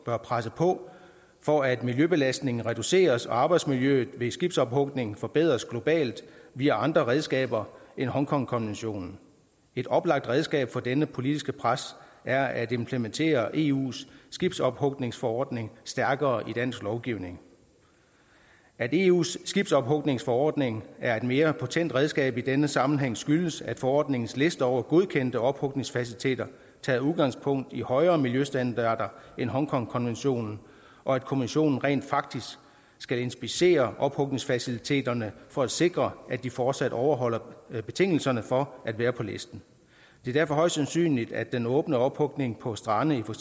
bør presse på for at miljøbelastningen reduceres og arbejdsmiljøet ved skibsophugning forbedres globalt via andre redskaber end hongkongkonventionen et oplagt redskab for dette politiske pres er at implementere eus skibsophugningsforordning stærkere i dansk lovgivning at eus skibsophugningsforordning er et mere potent redskab i denne sammenhæng skyldes at forordningens liste over godkendte ophugningsfaciliteter tager udgangspunkt i højere miljøstandarder end hongkongkonventionen og at kommissionen rent faktisk skal inspicere ophugningsfaciliteterne for at sikre at de fortsat overholder betingelserne for at være på listen det er derfor højst sandsynligt at den åbne ophugning på strande i for